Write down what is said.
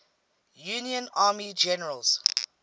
union army generals